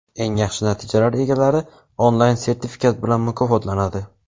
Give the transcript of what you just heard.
Eng yaxshi natijalar egalari onlayn sertifikat bilan mukofotlanadi.